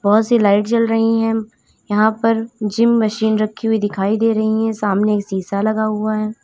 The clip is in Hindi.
बहोत सी लाइट जल रही हैं यहां पर जिम मशीन रखी हुई दिखाई दे रही हैं सामने एक शीशा लगा हुआ है।